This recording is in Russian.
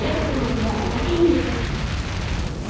это не надо я не хочу